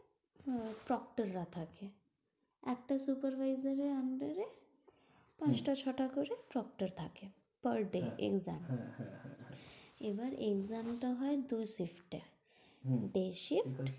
একটা supervisor এর under এ পাঁচটা ছটা করে ট্রক্টর থাকে। per day exam এবার exam টা হয় দু shift এ